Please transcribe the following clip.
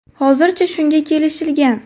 Hozircha shunga kelishilgan.